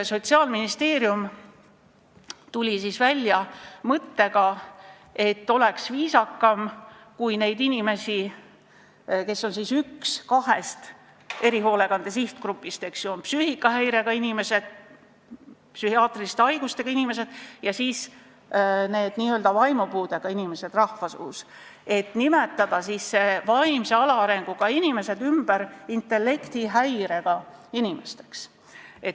Sotsiaalministeerium tuli välja mõttega, et oleks viisakam, kui neid inimesi, kes kuuluvad ühte kahest erihoolekande sihtgrupist – on psüühikahäirega inimesed, psühhiaatriliste haigustega inimesed ja siis on need, keda rahvasuus nimetatakse vaimupuudega inimesteks –, neid vaimse alaarenguga inimesi hakataks nimetama intellektihäirega inimesteks.